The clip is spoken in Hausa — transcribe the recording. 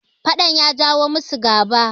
fadan ya jawo musu gaba